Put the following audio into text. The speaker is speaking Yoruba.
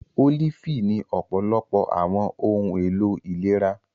Olifi ni ọpọlọpọ awọn ohun elo ilera.